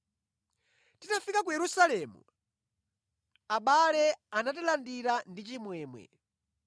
Titafika ku Yerusalemu, abale anatilandira mwachimwemwe.